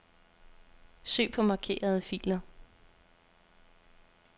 Søg på markerede filer.